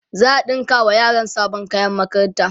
za'a ɗinka wa yaran sabon kayan makaranta